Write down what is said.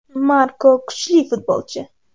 Marko kuchli futbolchi.